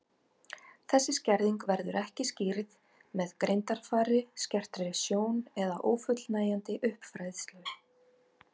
Þessi skerðing verður ekki skýrð með greindaraldri, skertri sjón eða ófullnægjandi uppfræðslu.